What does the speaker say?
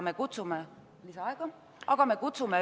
Palun lisaaega!